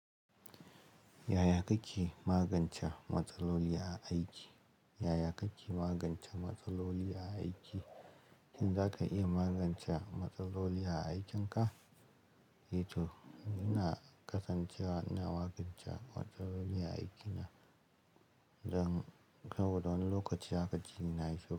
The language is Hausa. Yaya kake magance matsaloli a aiki? Yaya kake magance matsaloli a aiki? Shin za ka iya magance matsaloli a aikinka? Ito, ina kasancewa ina magance matsaloli a aikina. Dan saboda wani lokaci haka ji na yi shiru.